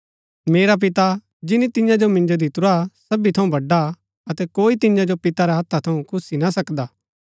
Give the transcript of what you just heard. मेरा पिता जिनी तियां जो मिन्जो दितुरा सबी थऊँ बडा हा अतै कोई तियां जो पिता रै हत्था थऊँ खुस्सी ना सकदा